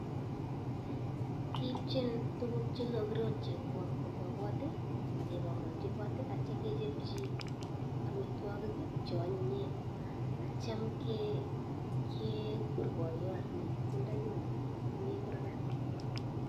Kiipchin tukuk che kakirotchi kobwa kot ak kebongonji kot, atyo kechopchi amitwakik cheanyinyen, atyo cham kgur poyonyi sindanyoni komi kurgat.